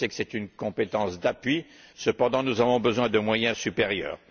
Je sais qu'il s'agit d'une compétence d'appui, cependant nous avons besoin de moyens supérieurs.